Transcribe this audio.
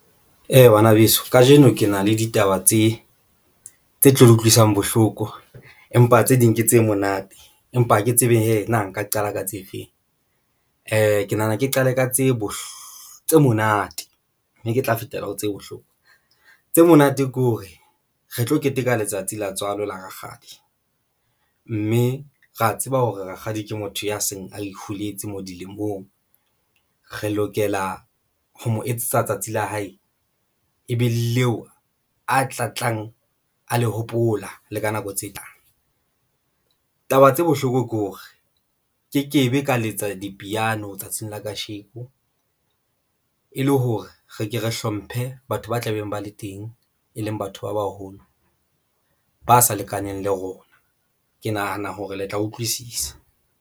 Ee, bana beso kajeno ke na le ditaba tse tlo utlwisang bohloko, empa tse ding ke tse monate. Empa ha ke tsebe hee nna nka qala ka tse feng ke nahana ke qale ka tsebo tse monate ne ke tla fetela ho tseba bohloko tse monate ke hore re tlo keteka letsatsi la tswalo la rakgadi mme ra tseba hore rakgadi ke motho ya seng a holetse mo dilemong, re lokela ho mo etsetsa tsatsi la hae e be leo a tlatlang a le hopola le ka nako tse tlang. Taba tse bohloko ke hore nkekebe ka letsa dipiano tsatsing la kasheko e le hore re ke re hlomphe batho ba tla beng ba le teng, e leng batho ba baholo, ba sa lekaneng le rona, ke nahana hore le tla utlwisisa.